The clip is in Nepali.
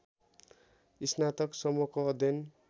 स्नातक सम्मको अध्ययन